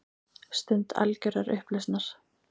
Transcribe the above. Stund algjörrar upplausnar.